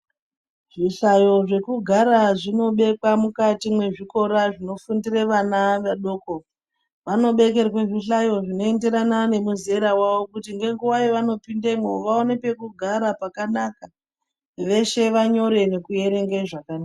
Zvi hlayo zveku gara zvino bekwa mukati mwe zvikora zvino fundire vana vadoko vano bekerwa zvi hlayo zvino enderana ne muzera wavo kuti nge nguva yavano pindemwo vaone peku gara pakanaka veshe vanyore neku erenga zvakanaka.